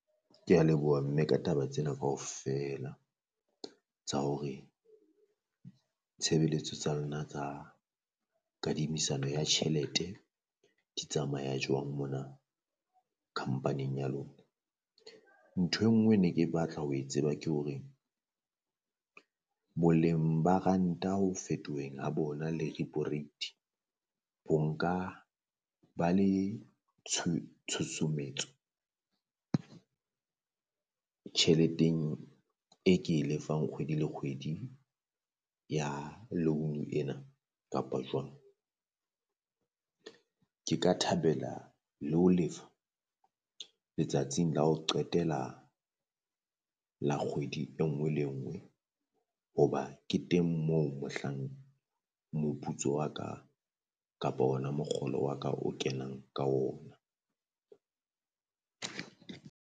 Kea leboha mme ka taba tsena kaofela tsa hore tshebeletso tsa lona tsa kadimisano ya tjhelete di tsamaya jwang mona khampaning ya lona. Ntho enngwe ne ke batla ho e tseba ke hore boleng ba ranta ho fetoheng ha bona le repo rate ho nka ba le tshutsumetso tjheleteng e ke e lefang kgwedi le kgwedi ya loan ena kapa jwang? Ke ka thabela le ho lefa letsatsing la ho qetela le kgwedi enngwe le enngwe hoba ke teng moo mohlang moputso wa ka kapo ona mokgolo wa ka o kenang ka ona.